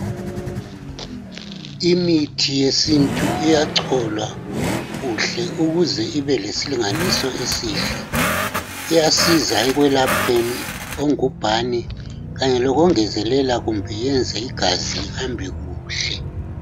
Imithi yesinto iyacholwa kuhle ukuze ibe lesilinganiso esihle. Iyasiza ekuyelapheni ongubhane kanye lokungezelela kumbe yenze igazi lihambe kuhle.